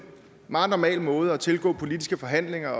meget normal måde at tilgå politiske forhandlinger